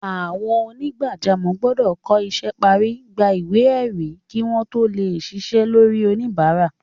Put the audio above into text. Àwọn onígbàjámọ̀ gbọ́dọ̀ kọ́ isẹ́ parí, gba ìwé ẹ̀rí kí wọ́n tó lè ṣiṣẹ́ lórí oníbàárà.